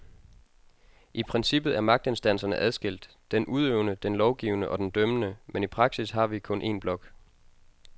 I princippet er magtinstanserne adskilt, den udøvende, den lovgivende og den dømmende, men i praksis har vi kun en blok.